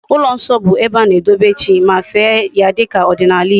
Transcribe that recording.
Ulo nso bu ebe ana edobe chi ma fee ya dika odinala Igbo